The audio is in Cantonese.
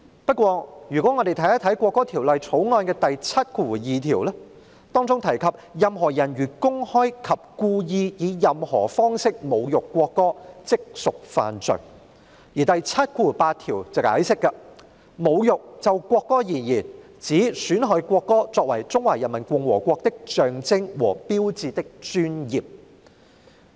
不過，如果我們看看《條例草案》第72條，當中提及"任何人如公開及故意以任何方式侮辱國歌，即屬犯罪"；而第78條則解釋，就國歌而言，侮辱指損害國歌作為中華人民共和國的象徵和標誌的尊嚴。